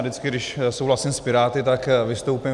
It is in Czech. Vždycky, když souhlasím s Piráty, tak vystoupím.